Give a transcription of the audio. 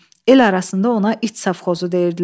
El arasında ona iç safxozu deyirdilər.